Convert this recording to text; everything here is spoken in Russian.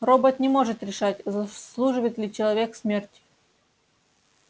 робот не может решать заслуживает ли человек смерти